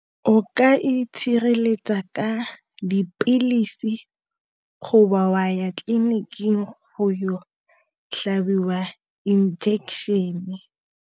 O ka itshireletsa ka dipilisi wa ya tleliniking go yo tlhabiwa injection-e.